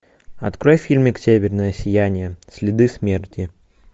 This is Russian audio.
открой фильмик северное сияние следы смерти